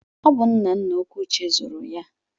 Ọ bụ nna nna Okwuchi zụrụ ya.